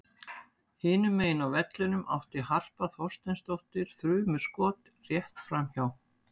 Hinum megin á vellinum átti Harpa Þorsteinsdóttir þrumuskot rétt framhjá.